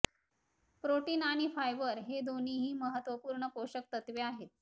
protein आणि fibre हे दोन्ही महत्त्वपूर्ण पोषक तत्वे आहेत